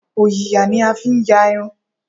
Òyìyà ní a fi ń yà irun